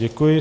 Děkuji.